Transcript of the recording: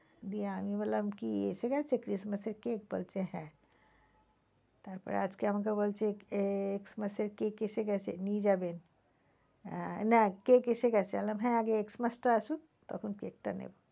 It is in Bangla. দিয়ে আমি বললাম কি এসে গেছে christmass এর cake বলছে হ্যাঁ। তারপরে আজকে আমাকে বলছে x mass এর cake এসে গেছে নিয়ে যাবেন আহ না cake এসে গেছে আমি বললাম হ্যাঁ আগে x mass টা আসুক তখন cake টা নেবো।